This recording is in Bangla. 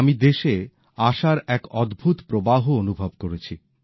আমি দেশে আশার এক অদ্ভুত প্রবাহ অনুভব করেছি